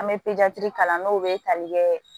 An bɛ kalan n'o bɛ tali kɛ